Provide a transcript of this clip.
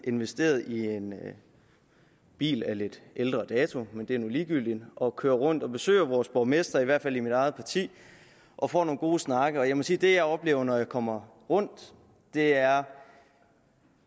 investeret i en bil af lidt ældre dato men det er nu ligegyldigt og kører rundt og besøger vores borgmestre fra i hvert fald mit eget parti og får nogle gode snakke jeg må sige at det jeg oplever når jeg kommer rundt er